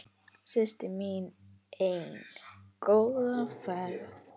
Systir mín ein, góða ferð.